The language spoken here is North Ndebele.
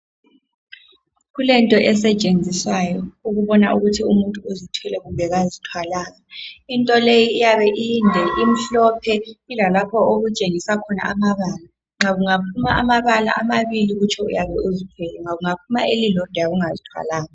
Kulento esetshenziswayo ukubona ukuthi umuntu uzithwele kumbe kazithwalanga into leyi iyabe inde, imhlophe ilalapho okutshengisa khona amabala nxa kungaphuma amabala amabili kutsho uyabuzithwele uyabe ungazithwalanga.